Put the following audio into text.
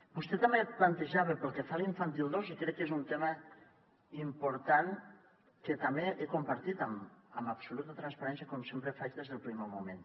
vostè també plantejava pel que fa a l’infantil dos i crec que és un tema important que també he compartit amb absoluta transparència com sempre faig des del primer moment